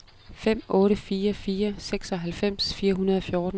fem otte fire fire seksoghalvfems fire hundrede og fjorten